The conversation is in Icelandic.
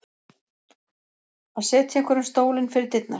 Að setja einhverjum stólinn fyrir dyrnar